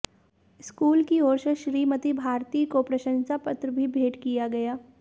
school की ओर से श्रीमती भारती को प्रशंसा पत्र भी भेंट किया गया